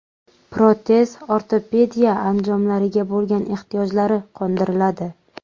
Protez-ortopediya anjomlariga bo‘lgan ehtiyojlari qondiriladi.